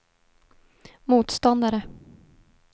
motståndare